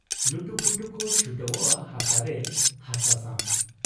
ᱞᱩᱴᱩᱯᱩᱴᱩ ᱠᱚ ᱪᱷᱩᱴᱟᱹᱣᱜ ᱟ ᱦᱟᱥᱟ ᱨᱮ , ᱦᱟᱥᱟ ᱥᱟᱶ ᱾